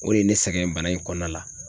O de ye ne sɛgɛn bana in kɔnɔna la.